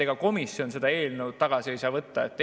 Ega komisjon seda eelnõu tagasi võtta ei saa.